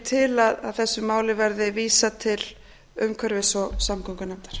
til að þessu máli verði vísað til umhverfis og samgöngunefndar